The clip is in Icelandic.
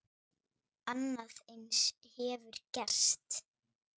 Annað eins hefur gerst!